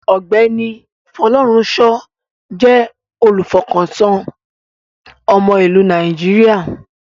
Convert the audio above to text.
Ọ̀gbẹ́ni Folorunsho jẹ́ olùfọkàntán ọmọ ìlú Nàìjíríà.